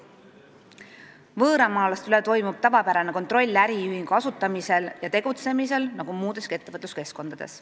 Võõramaalaste üle toimub tavapärane kontroll äriühingu asutamisel ja tegutsemisel nagu muudeski ettevõtluskeskkondades.